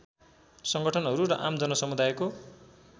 सङ्गठनहरू र आम जनसमुदायको